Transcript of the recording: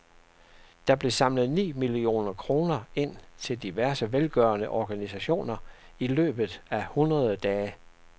Der blev samlet ni millioner kroner ind til diverse velgørende organisationer i løbet af hundrede dage.